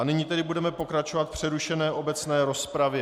A nyní tedy budeme pokračovat v přerušené obecné rozpravě.